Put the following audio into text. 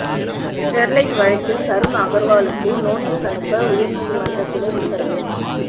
Sterlite வழக்கில் தருண் அகர்வாலுக்கு notice அனுப்ப உயர்நீதிமன்ற கிளை உத்தரவு